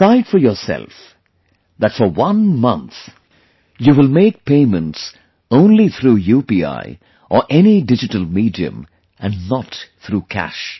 Decide for yourself that for one month you will make payments only through UPI or any digital medium and not through cash